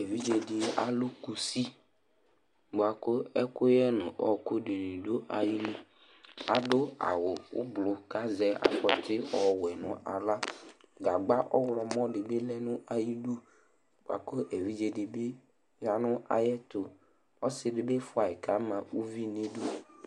Evidze alu kʋsi bʋakʋ ɛkʋyɛ ŋu ɔku ɖìŋí bi ɖu ayìlí Aɖu awu ʋblu kʋ azɛ afɔti ɔwɛ ŋu aɣla Gagba ɔwlɔmɔ ɖi lɛ ŋu ayʋ bʋakʋ evidze ɖi bi yaŋʋ ayuɛtu Ɔsiɖi bi fʋaɣi kʋ ama uvi ŋu iɖʋ